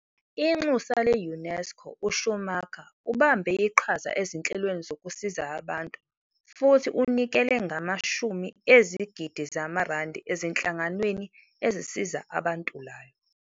Inxusa le-UNESCO, uSchumacher ubambe iqhaza ezinhlelweni zokusiza abantu futhi unikele ngamashumi ezigidi zamaRandi ezinhlanganweni ezisiza abantulayo.